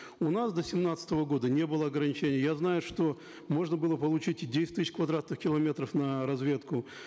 у нас до семнадцатого года не было ограничений я знаю что можно было получить и десять тысяч квадратных километров на разведку